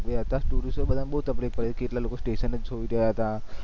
ગયા હતા tourist ને બધા ને બહુ તકલિફ પડી હતી કેટલાક લોકો station સોઈ રહ્યા હતા